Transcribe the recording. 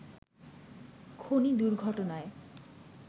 খনি দুর্ঘটনায়